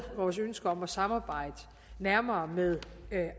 vores ønske om at samarbejde nærmere med